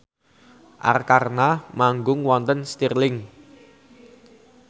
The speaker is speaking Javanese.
Arkarna manggung wonten Stirling